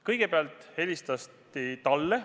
Kõigepealt helistati talle.